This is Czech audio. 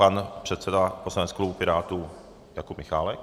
Pan předseda poslaneckého klubu Pirátů Jakub Michálek.